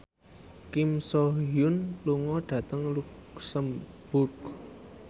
Kim So Hyun lunga dhateng luxemburg